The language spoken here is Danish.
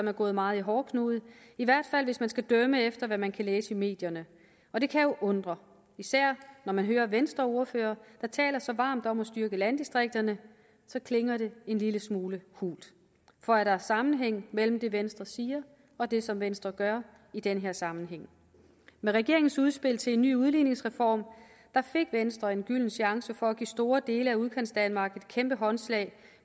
er gået meget i hårdknude i hvert fald hvis man skal dømme efter hvad man kan læse i medierne og det kan jo undre især når man hører venstreordførere der taler så varmt om at styrke landdistrikterne så klinger det en lille smule hult for er der sammenhæng mellem det venstre siger og det som venstre gør i den her sammenhæng med regeringens udspil til en ny udligningsreform fik venstre en gylden chance for at give store dele af udkantsdanmark et kæmpe håndslag